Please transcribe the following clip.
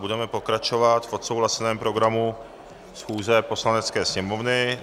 Budeme pokračovat v odsouhlaseném programu schůze Poslanecké sněmovny.